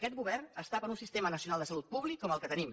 aquest govern està per un sistema nacional de salut públic com el que tenim